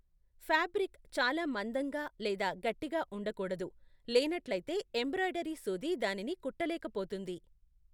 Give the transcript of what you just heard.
Fabric చాలా మందంగా లేదా గట్టిగా ఉండకూడదు, లేనట్లయితే ఎంబ్రాయిడరీ సూది దానిని కుట్టలేకపోతుంది.